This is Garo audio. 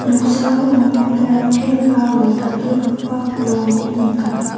noksao anga narikel aro dal·dalgipa bolrangko nika.